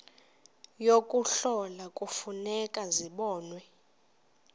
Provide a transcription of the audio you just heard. yokuhlola kufuneka zibonwe